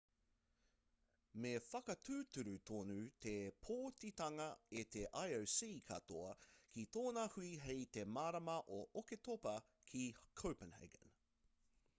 me whakatūturu tonu te pōtitanga e te ioc katoa ki tōna hui hei te marama o oketopa ki copenhagen